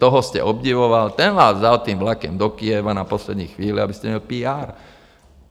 Toho jste obdivoval, ten vás vzal tím vlakem do Kyjeva na poslední chvíli, abyste měl PR.